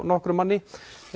nokkrum manni